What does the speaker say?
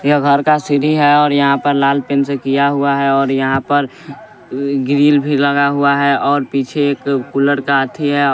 ये घर का सीढ़ी है और यहाँ पर लाल पेन से किया हुआ है और यहाँ पर ई ग्रिल भी लगा हुआ है और पीछे एक कूलर का आथी है।